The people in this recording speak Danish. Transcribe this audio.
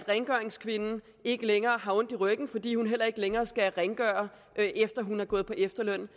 rengøringskvinden har ikke længere ondt i ryggen fordi hun ikke længere skal rengøre efter at hun er gået på efterløn